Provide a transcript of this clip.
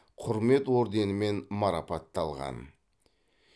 құрмет орденімен марапатталған